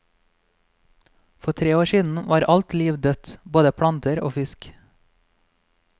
For tre år siden var alt liv dødt, både planter og fisk.